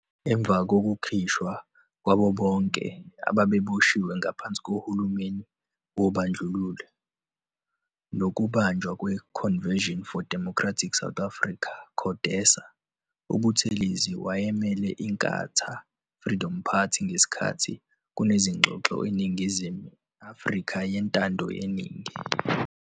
Emva kokukhishwa kwabo bonke ababeboshiwe ngaphansi kohulumeni wobandlululo, nokubunjwa kwe-"Convesion for Democratic South Africa, CODESA", UButhelezi wayemele Inkatha Freedom Party ngesikhathi kunezingxoxo zeNingizimu Afrika yeNtando yeNingi.